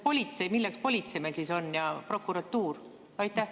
Milleks meil siis politsei on ja prokuratuur?